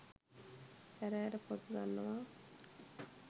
ඇර ඇර පොත් ගන්නවා.